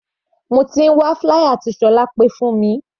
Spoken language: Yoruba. Mo ti ń wá flier tí Solape fún mi.